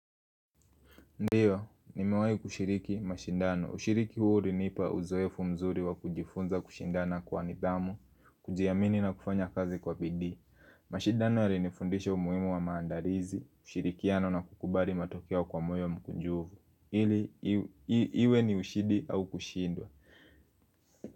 Ndio, nimewahi kushiriki mashindano. Ushiriki huu uliniipa uzoefu mzuri wa kujifunza kushindana kwa nidhamu, kujiamini na kufanya kazi kwa bidii. Mashindano yalinifundisha umuhimu wa maandalizi, kushirikiano na kukubali matokeo kwa moyo mkunjufu. Ili, iwe ni ushindi au kushindwa.